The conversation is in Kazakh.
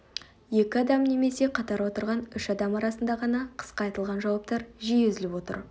екі адам немесе қатар отырған үш адам арасында ғана қысқа айтылған жауаптар жиі үзіліп отыр